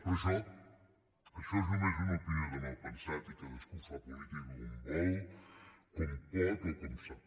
però això això és només una opinió de malpensat i cadascú fa política com vol com pot o com sap